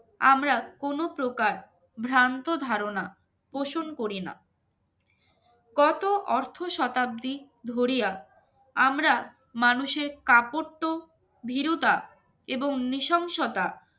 আমরা কোন প্রকার ভ্রান্ত ধারণা পোষণ করি না কত অর্থ শতাব্দীর ধরিয়া আমরা মানুষের কাপড় তো ভীরুতা এবং নিশংসতা আমরা